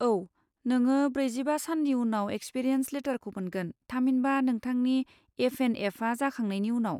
औ, नोङो ब्रैजिबा साननि उनाव एक्सपिरियेन्स लेटारखौ मोनगोन, थामहिनबा नोंथांनि एफ एन एफआ जाखांनायनि उनाव।